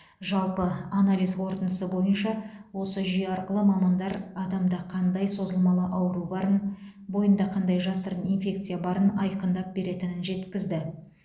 жалпы анализ қорытындысы бойынша осы жүйе арқылы мамандар адамда қандай созылмалы ауру барын бойында қандай жасырын инфекция барын айқындап беретінін жеткізді